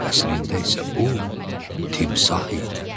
Əslində isə bu timsah idi.